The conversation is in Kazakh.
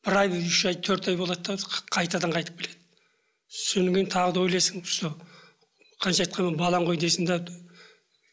бір ай үш ай төрт ай болады да қайтадан қайтып келеді содан кейін тағы да ойлайсың сол қанша айтқанмен балаң ғой дейсің де